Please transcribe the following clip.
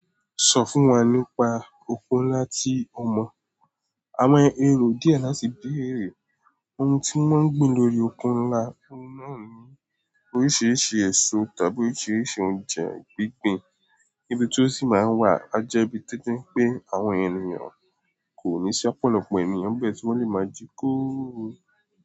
Sọ fún wa nípa òko ńlá tí o mọ̀. Àwọn èrò díẹ̀ láti béèrè ohun tí wọ́n ń gbìn lórí òko ńlá, òhun náà ní oríṣiríṣi èso tàbí oríṣiríṣi oúnjẹ gbígbìn. Ibí tí ó sì máa ń wà á jẹ́ ibi tí ti n pé àwọn ènìyàn kò ní ṣápọ̀ lọ́pọ̀ ènìyàn bẹ́ẹ̀ tí wọ́n lè máa jí kóòórùn.